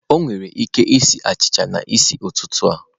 Ọ nwere ike sie achịcha a n'isi ụtụtụ a?